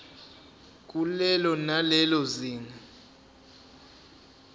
kulelo nalelo zinga